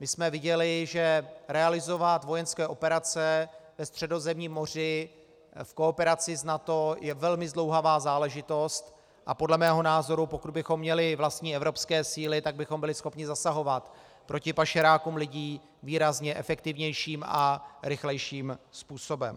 My jsme viděli, že realizovat vojenské operace ve Středozemním moři v kooperaci s NATO je velmi zdlouhavá záležitost, a podle mého názoru, pokud bychom měli vlastní evropské síly, tak bychom byli schopni zasahovat proti pašerákům lidí výrazně efektivnějším a rychlejším způsobem.